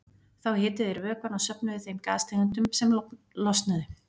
Þá hituðu þeir vökvann og söfnuðu þeim gastegundum sem losnuðu.